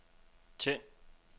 tænd